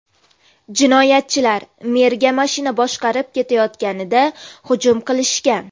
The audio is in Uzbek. Jinoyatchilar merga mashina boshqarib ketayotganida hujum qilishgan.